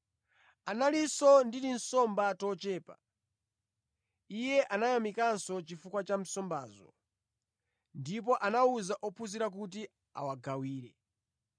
Analinso ndi tinsomba tochepa; Iye anayamikanso chifukwa cha nsombazo. Ndipo anawuza ophunzira kuti awagawire.